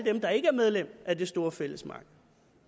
dem der ikke er medlem af det store fællesmarked